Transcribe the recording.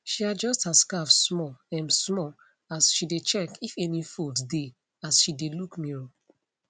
she adjust her scarf small um small as she dae check if any fold dae as she dae look mirror